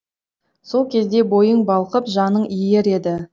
сол кезде бойың балқып жаның иер еді